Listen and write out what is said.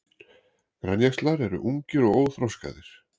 Grænjaxlar eru ungir og óþroskaðir.